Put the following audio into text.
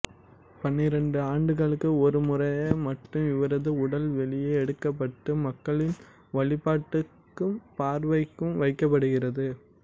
பன்னிரண்டு ஆண்டுகளுக்கு ஒரு முறை மட்டும் இவரது உடல் வெளியே எடுக்கப்பட்டு மக்களின் வழிபாட்டுக்கும்பார்வைக்கும் வைக்கப்படுகிறது